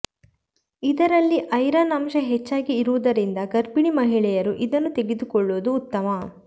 ಇದರಲ್ಲಿ ಐರನ್ ಅಂಶ ಹೆಚ್ಚಾಗಿ ಇರುವುದರಿಂದ ಗರ್ಭಿಣಿ ಮಹಿಳೆಯರು ಇದನ್ನು ತೆಗೆದುಕೊಳ್ಳುವುದು ಉತ್ತಮ